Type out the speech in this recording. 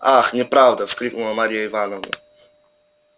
ах неправда вскрикнула марья ивановна